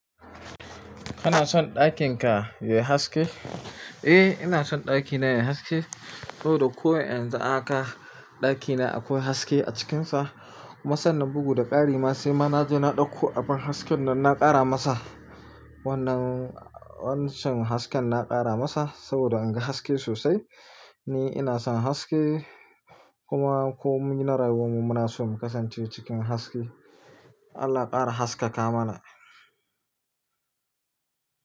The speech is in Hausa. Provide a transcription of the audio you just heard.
Kana son ɗakin ka yai haske? Eh, ina son ɗakina ya yi haske saboda ko yanzu a haka ɗakina akwai haske a cikinsa. Kuma sannan bugu da ƙari ma sai ma na je na ɗauko abin hasken nan na ƙara masa. Wannan, wancan hasken na ƙara masa saboda in ga haske sosai. Ni ina son haske kuma ko mun na rayuwan mu muna so mu kasance cikin haske. Allah ƙara haskaka mana.